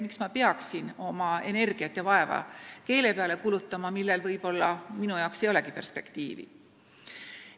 Miks ma peaksin oma energiat kulutama keele peale, millel võib-olla minu jaoks ei olegi perspektiivi?